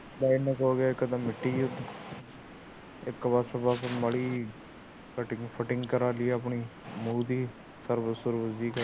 ਇੱਕ ਪਾਸੇ ਮਾੜੀ ਜਿਹੀ ਕਟਿੰਗ ਕੁਟਿੰਗ ਕਰਵਾ ਲਈਏ ਮੂੰਹ ਦੀ